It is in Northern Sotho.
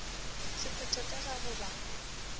sephetho ka ga go ba